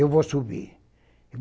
Eu vou subir.